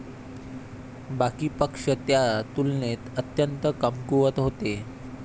बाकी पक्ष त्या तुलनेत अत्यंत कमकुवत होते.